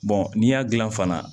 n'i y'a dilan fana